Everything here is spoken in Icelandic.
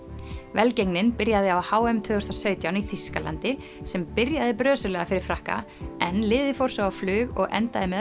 velgengnin byrjaði á h m tvö þúsund og sautján í Þýskalandi sem byrjaði brösulega fyrir Frakka en liðið fór svo á flug og endaði með